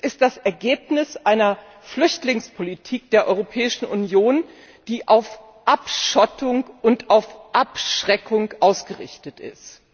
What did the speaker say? Es ist das Ergebnis einer Flüchtlingspolitik der Europäischen Union, die auf Abschottung und auf Abschreckung ausgerichtet ist.